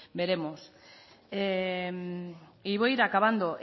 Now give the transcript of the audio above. veremos y voy a ir acabando